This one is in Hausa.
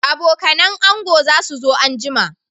Abokanan ango za su so anjima